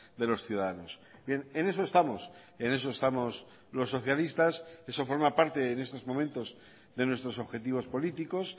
de los ciudadanos bien en eso estamos en eso estamos los socialistas eso forma parte en estos momentos de nuestros objetivos políticos